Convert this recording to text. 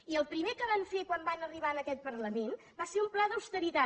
i el primer que van fer quan van arribar en aquest parlament va ser un pla d’austeritat